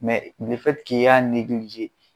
i y'a